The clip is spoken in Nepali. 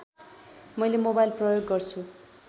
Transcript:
मैले मोबाइल प्रयोग गर्छु